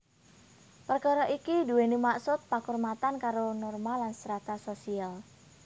Perkara iki duweni maksud pakurmatan karo norma lan strata sosial